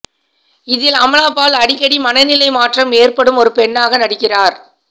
இதில் அமலாபால் அடிக்கடி மனநிலை மாற்றம் ஏற்படும் ஒரு பெண்ணாக நடிக்கிறார்